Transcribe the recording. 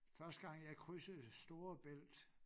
Første gang jeg krydsede Storebælt